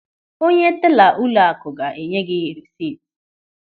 Onye tela ụlọakụ ga-enye gị rịsịt.